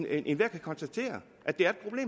enhver kan konstatere